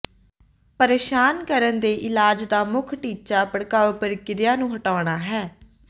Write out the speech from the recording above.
ਪਰੇਸ਼ਾਨ ਕਰਨ ਦੇ ਇਲਾਜ ਦਾ ਮੁੱਖ ਟੀਚਾ ਭੜਕਾਊ ਪ੍ਰਕਿਰਿਆ ਨੂੰ ਹਟਾਉਣਾ ਹੈ